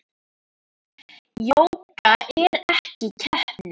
Jóga er ekki keppni.